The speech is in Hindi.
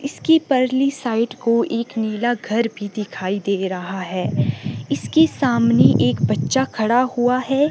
इसकी परली साइड को एक नीला घर भी दिखाई दे रहा है इसके सामने एक बच्चा खड़ा हुआ है।